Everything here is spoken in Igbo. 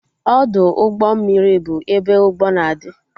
Ọdụ ụgbọ mmiri bụ ebe ụgbọ na-adị